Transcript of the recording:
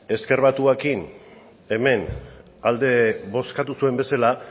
ezker batuarekin hemen alde bozkatu zuen bezala